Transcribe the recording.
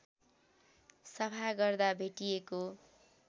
सफा गर्दा भेटिएको